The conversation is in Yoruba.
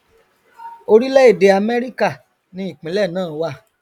orílẹèdè amẹríkà ni ìpínlẹ náà wà